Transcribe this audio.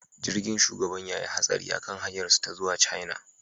Jirgin shugaban ya yi hatsari a kan hanyarsu ta zuwa China